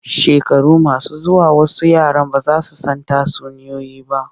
Shekaru masu zuwa wasu yaran ba za su san tatsuniyoyi ba.